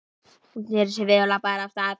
Hún sneri sér við og labbaði af stað.